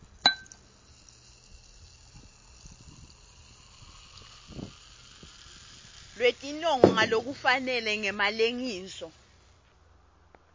lwetinongo ngalokufanele ngemalengiso